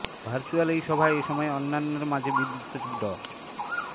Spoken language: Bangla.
ভার্চুয়াল এই সভায় এ সময় অন্যান্যের মাঝে বিদ্যুৎ সচিব ড